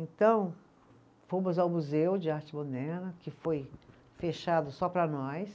Então fomos ao Museu de Arte Moderna, que foi fechado só para nós,